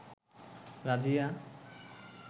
Razia